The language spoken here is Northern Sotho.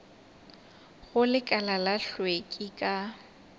go lekala la hlweki ka